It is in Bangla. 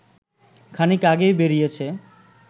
খানিক আগেই বেরিয়েছে